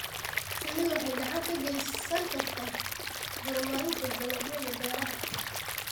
Shinnidu waxay gacan ka geysan kartaa horumarinta dalagyada beeraha.